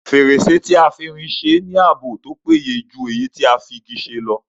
Fèrèsé tí a fi irin se ní ààbò tó péye jù èyí tí a fi Igi ṣe lọ